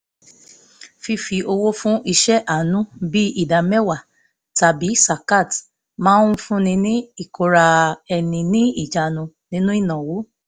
fífi owó fún iṣẹ́ àánú bíi ìdá mẹ́wàá tàbí zakat máa ń fún ni ní ìkóra-ẹni-níjàánu nínú ìnáwó